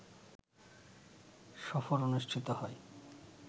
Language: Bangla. সফর অনুষ্ঠিত হয়